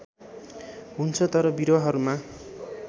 हुन्छ तर बिरुवाहरूमा